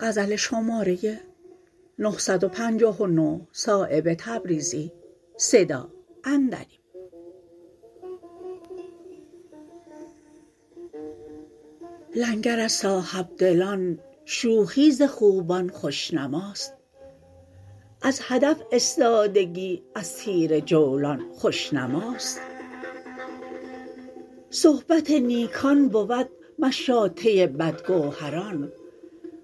لنگر از صاحبدلان شوخی ز خوبان خوشنماست از هدف استادگی از تیر جولان خوشنماست صحبت نیکان بود مشاطه بدگوهران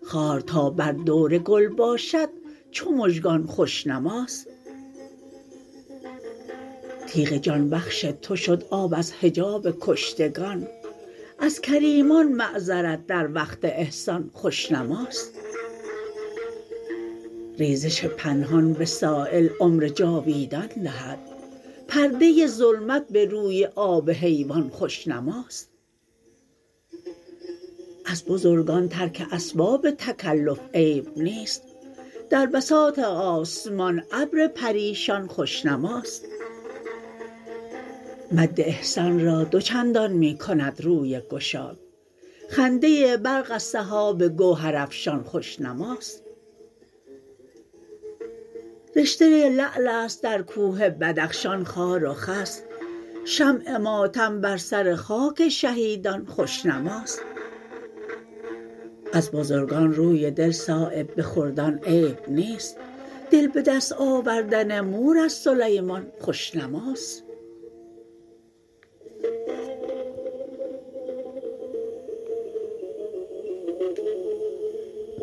خار تا بر دور گل باشد چو مژگان خوشنماست تیغ جان بخش تو شد آب از حجاب کشتگان از کریمان معذرت در وقت احسان خوشنماست ریزش پنهان به سایل عمر جاویدان دهد پرده ظلمت به روی آب حیوان خوشنماست از بزرگان ترک اسباب تکلف عیب نیست در بساط آسمان ابر پریشان خوشنماست مد احسان را دو چندان می کند روی گشاد خنده برق از سحاب گوهر افشان خوشنماست رشته لعل است در کوه بدخشان خار و خس شمع ماتم بر سر خاک شهیدان خوشنماست از بزرگان روی دل صایب به خردان عیب نیست دل به دست آوردن مور از سلیمان خوشنماست